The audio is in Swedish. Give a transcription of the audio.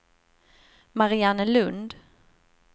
Mariannelund